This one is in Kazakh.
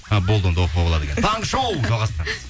а болды онда оқуға болады екен таңғы шоу жалғастырамыз